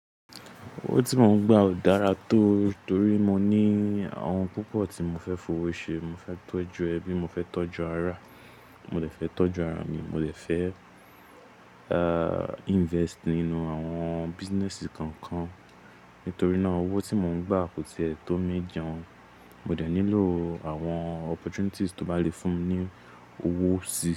Owó tí mò ń gbà ò dára tó torí mo ní àwọn ohun púpọ̀ tí mò fẹ́ fowó ṣe. Mo fẹ́ tọ́jú ẹbí, mo fẹ́ tọ́jú ará, mo de fẹ́ tọ́jú ara mi, mo dè fẹ́, eeh, invest nínú àwọn businesses kan kan. Nítorí náà owó tí mò ń gbà kò tiẹ́ tó mii jẹun. Mo dẹ̀ nílò àwọn opportunities tó bá lè fún mi ní owó sí.